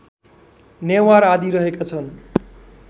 नेवार आदि रहेका छन्